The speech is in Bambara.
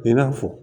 I n'a fɔ